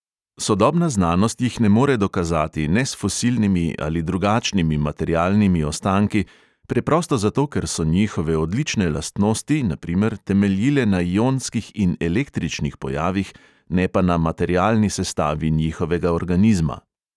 Sodobna znanost jih ne more dokazati, ne s fosilnimi ali drugačnimi materialnimi ostanki, preprosto zato, ker so njihove odlične lastnosti na primer temeljile na ionskih in električnih pojavih, ne pa na materialni sestavi njihovega organizma.